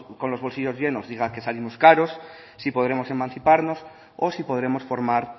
llenos diga que salimos caros si podremos emanciparnos o si podremos formar